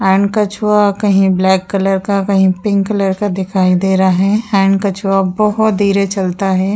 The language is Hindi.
एण्ड कछुआ कहीं ब्लैक कलर का कहीं पिंक कलर का दिखाई दे रहा है एण्ड कछुआ बोहोत धीरे चलता है।